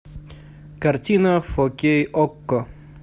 картина фо кей окко